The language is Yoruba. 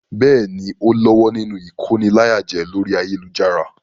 Bẹ́ẹ̀ni, ó lọ́wọ́ nínú ìkóniláyàjẹ orí ayélujára.